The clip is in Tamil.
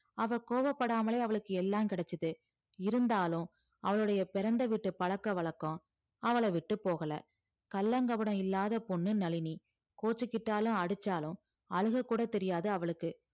அவ கோபப்படாமலே அவளுக்கு எல்லாம் கிடைச்சது இருந்தாலும் அவளுடைய பிறந்த வீட்டு பழக்க வழக்கம் அவள விட்டு போகல கள்ளங்கபடம் இல்லாத பொண்ணு நளினி கோச்சுக்கிட்டாலும் அடிச்சாலும் அழுக கூட தெரியாது அவளுக்கு